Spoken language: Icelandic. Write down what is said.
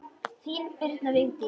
Þín, Birna Vigdís.